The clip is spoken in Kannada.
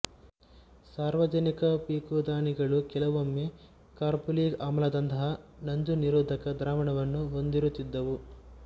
ಸಾರ್ವಜನಿಕ ಪೀಕುದಾನಿಗಳು ಕೆಲವೊಮ್ಮೆ ಕಾರ್ಬೋಲಿಕ್ ಆಮ್ಲದಂತಹ ನಂಜುನಿರೋಧಕದ ದ್ರಾವಣವನ್ನು ಹೊಂದಿರುತ್ತಿದ್ದವು